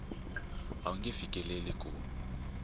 a wu nge fikeleli ku